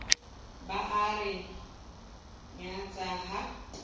ba a re nyatsa ha